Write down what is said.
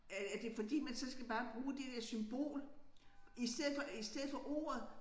Øh er det fordi man så skal bare bruge det der symbol i stedet for i stedet for ordet